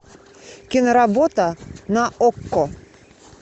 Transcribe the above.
киноработа на окко